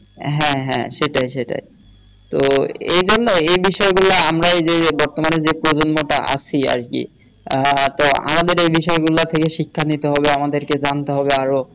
হ্যাঁ হ্যাঁ সেটাই সেটাই তো এই জন্যেই এ বিষয় গুলা আমরা যে বর্তমানে যে প্রজন্মটা আছি আরকি আহ তো আমাদের এ বিষয় গুলা থেকে শিক্ষা নিতে হবে আমাদেরকে জানতে হবে আরো